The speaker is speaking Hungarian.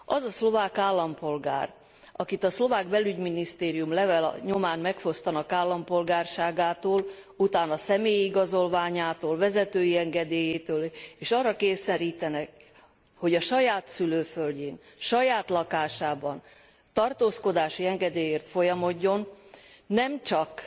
Az a szlovák állampolgár, akit a szlovák belügyminisztérium levele nyomán megfosztanak állampolgárságától, utána személyi igazolványától, vezetői engedélyétől, és arra kényszerítik, hogy a saját szülőföldjén, saját lakásában tartózkodási engedélyért folyamodjon, nemcsak